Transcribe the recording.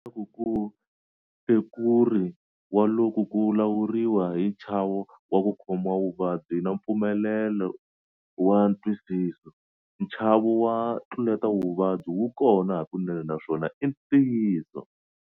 Ku vuriwa leswaku ku hlekuri wa loku ku lawuriwa hi nchavo wa ku khomiwa vuvabyi na mpfumaleko wa ntwisiso. Nchavo wa ntluletavuvabyi wu kona hakunene naswona i ntiyiso.